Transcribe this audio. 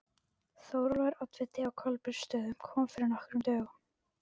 Þórólfur oddviti á Kolbeinsstöðum kom fyrir nokkrum dögum.